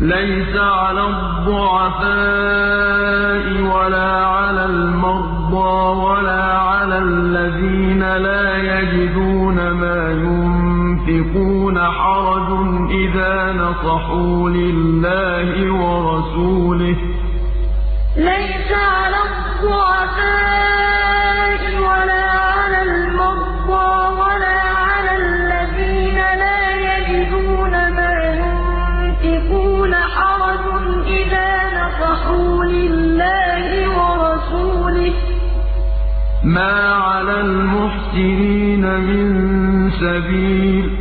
لَّيْسَ عَلَى الضُّعَفَاءِ وَلَا عَلَى الْمَرْضَىٰ وَلَا عَلَى الَّذِينَ لَا يَجِدُونَ مَا يُنفِقُونَ حَرَجٌ إِذَا نَصَحُوا لِلَّهِ وَرَسُولِهِ ۚ مَا عَلَى الْمُحْسِنِينَ مِن سَبِيلٍ ۚ